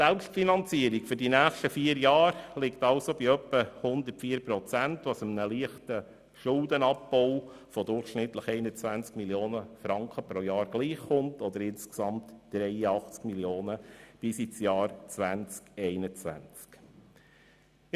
Die Selbstfinanzierung für die nächsten vier Jahre liegt also etwa bei 104 Prozent, was einem leichten Schuldenabbau von durchschnittlich 21 Mio. Franken gleichkommt oder insgesamt 83 Mio. Franken bis ins Jahr 2020/21.